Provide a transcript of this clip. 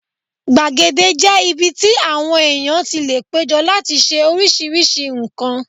Gbàgede jẹ́ ibi tí àwọn èèyàn tí lè péjọ láti ṣe oríṣiríṣi nǹkan